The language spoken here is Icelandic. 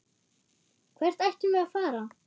Hvert ættum við að fara?